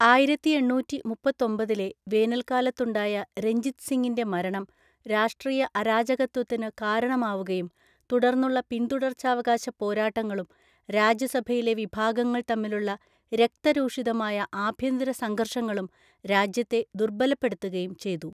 ആയിരത്തി എണ്ണൂറ്റി മുപ്പത്തൊമ്പതിലെ വേനൽക്കാലത്തുണ്ടായ രഞ്ജിത് സിങ്ങിന്റെ മരണം രാഷ്ട്രീയ അരാജകത്വത്തിന് കാരണമാവുകയും, തുടർന്നുള്ള പിന്തുടർച്ചാവകാശ പോരാട്ടങ്ങളും രാജസഭയിലെ വിഭാഗങ്ങൾ തമ്മിലുള്ള രക്തരൂഷിതമായ ആഭ്യന്തരസംഘര്‍ഷങ്ങളും രാജ്യത്തെ ദുർബലപ്പെടുത്തുകയും ചെയ്തു.